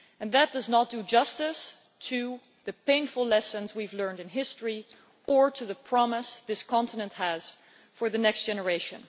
That does not do justice to the painful lessons we have learned in history or to the promise this continent has for the next generation.